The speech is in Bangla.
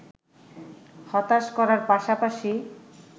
হতাশ করার পাশাপাশি